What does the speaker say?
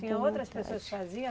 Tinha outras pessoas que faziam?